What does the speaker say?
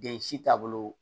Den si taabolo